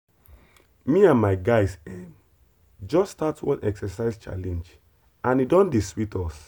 me and my guys ehm just start one exercise challenge and e don dey sweet us.